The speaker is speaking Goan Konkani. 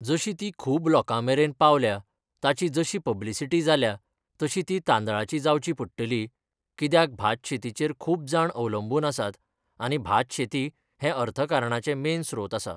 जशी ती खूब लोकां मेरेन पावल्या ताची जशी पब्लिसिटी जाल्या तशी ती तांदळाची जावची पडटली कित्याक भात शेतीचेर खूब जाण अवलंबून आसात आनी भात शेती हें अर्थकरणाचें मेन स्त्रोत आसा.